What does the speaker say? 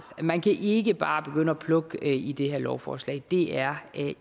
man kan ikke bare begynde at plukke i det her lovforslag det er